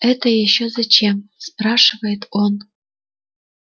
это ещё зачем спрашивает он